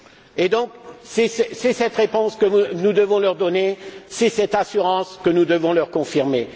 Et donc, c'est cette réponse que nous devons leur donner, c'est cette assurance que nous devons leur confirmer.